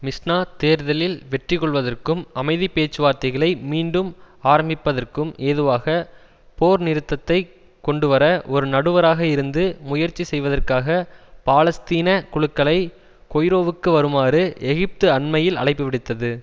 மிஸ்நா தேர்தலில் வெற்றிகொள்வதற்கும் அமைதி பேச்சுவார்த்தைகளை மீண்டும் ஆரம்மிப்பதற்கும் ஏதுவாக போர் நிறுத்தத்தை கொண்டுவர ஒரு நடுவராக இருந்து முயற்சி செய்வதற்காக பாலஸ்தீன குழுக்களை கொய்ரோவுக்கு வருமாறு எகிப்து அண்மையில் அழைப்புவிடுத்தது